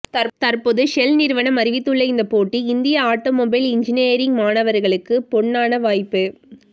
தற்போது ஷெல் நிறுவனம் அறிவித்துள்ள இந்த போட்டி இந்திய ஆட்டோமொபைல் இன்ஜினியரிங் மாணவர்களுக்கு பொன்னானா வாய்ப்பு